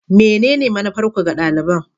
Menene manufarku ga daliban?